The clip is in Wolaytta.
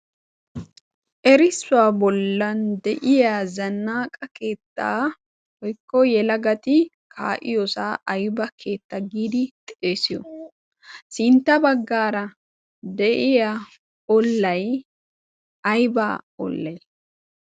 erissuwaa bollan de'iya zannaaqa keettaa oykko yela gati kaayiyoosaa aiba keetta giidi xeesiyo sintta baggaara de'iya olay aybba ollay